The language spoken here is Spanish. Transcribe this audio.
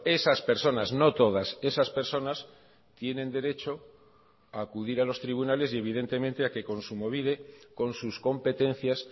esas personas no todas esas personas tienen derecho a acudir a los tribunales y evidentemente a que kontsumobide con sus competencias